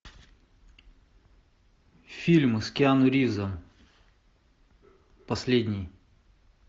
фильмы с киану ривзом последний